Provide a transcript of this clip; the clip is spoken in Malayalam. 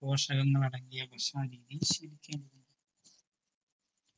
പോഷകങ്ങൾ അടങ്ങിയ ഭക്ഷണ രീതി ശെരിക്കും